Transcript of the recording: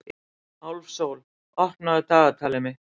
Álfsól, opnaðu dagatalið mitt.